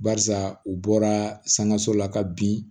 Barisa u bɔra sankaso la ka bin